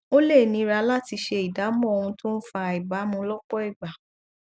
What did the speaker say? ó lè nira láti ṣe ìdámọ ohun tó ń fa àìbámú lọpọ ìgbà